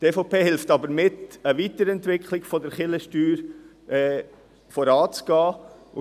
Die EVP hilft jedoch mit, eine Weiterentwicklung der Kirchensteuer voranzutreiben.